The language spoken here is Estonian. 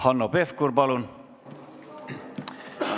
Hanno Pevkur, palun!